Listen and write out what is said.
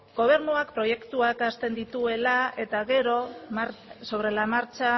gobernuak proiektuak hasten dituela eta gero sobre la marcha